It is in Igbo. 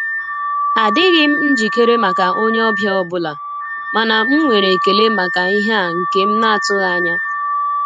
Adịghị m njikere maka onye ọbịa ọbụla, mana m nwere ekele maka ihe a nke m na--atụghị anya.